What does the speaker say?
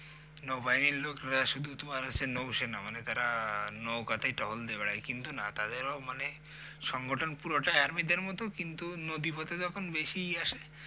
নৌবাহিনির লোকরা শুধু তোমার হচ্ছে নৌ সেনা মানে যারা নৌকাতেই টহল দিয়ে বেড়ায় কিন্তু না তাদেরও মানে সংঘটন পুরোটাই আর্মিদের মতই কিন্তু নদী পথে যখন বেশি ইয়ে আসে